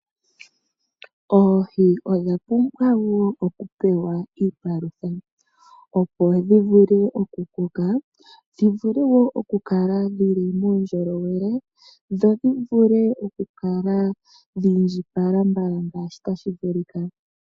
Oohi odhapumbwa woo okupewa iipalutha opo dhivule okukoka, dhivule woo okukala dhili muundjolowele dho dhivule okukala dhiindjipala mbala ngaashi tashi vulika.